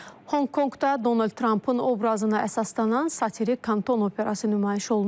Honkonqda Donald Trampın obrazına əsaslanan satirik kanton operası nümayiş olunub.